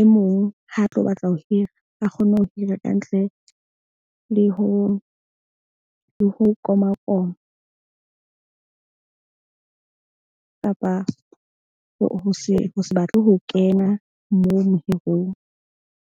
e mong. Ha a tlo batla ho hira, a kgone ho hira kantle le ho komakoma kapa ho se batle ho kena moo mohirong.